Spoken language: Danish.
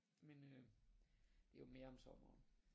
Men øh det er jo mere om sommeren